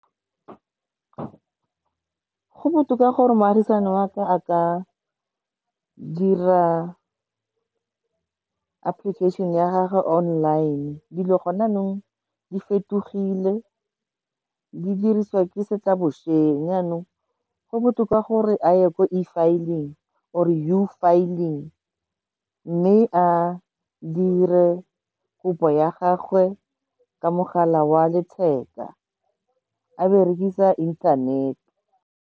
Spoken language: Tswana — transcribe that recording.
Go botoka gore moagisani wa ka a ka dira application-e ya gage online, dilo gone jaanong di fetogile, di dirisiwa ke se tla bosenyi. Jaanong go botoka gore a ye ko E filing or-e U filling mme a dire kopo ya gagwe ka mogala wa letheka a berekisa inthanete.